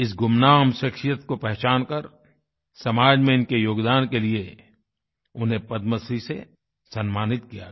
इस गुमनाम शख्शियत को पहचान कर समाज में इनके योगदान के लिए उन्हें पद्मश्री से सम्मानित किया गया